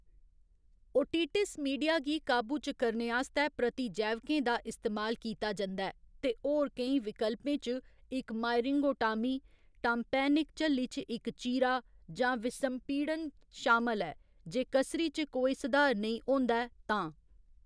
Otitis media गी काबू च करने आस्तै प्रतिजैविकें दा इस्तेमाल कीता जंदा ऐ, ते होर केईं विकल्पें च इक्क मायरिंगोटामी, टाम्पैनिक झल्ली च इक्क चीरा, जां विसंपीडन शामल ऐ जे कसरी च कोई सधार नेईं होंदा ऐ तां।